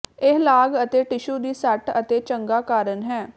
ਇਹ ਲਾਗ ਅਤੇ ਟਿਸ਼ੂ ਦੀ ਸੱਟ ਅਤੇ ਚੰਗਾ ਕਾਰਨ ਹੈ